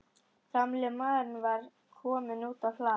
Gamli maðurinn var kominn út á hlað.